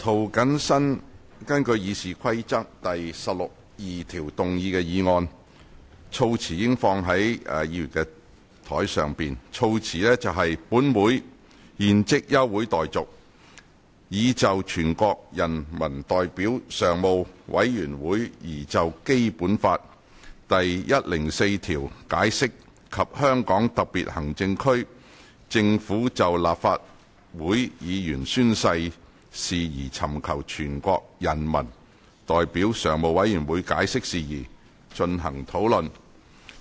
涂謹申議員根據《議事規則》第162條動議的議案，措辭已放在議員的桌上。議案措辭如下：本會現即休會待續，以就全國人民代表大會常務委員會擬就《基本法》第一百零四條解釋及香港特別行政區政府就立法會議員宣誓事宜尋求全國人民代表大會常務委員會解釋事宜，進行討論。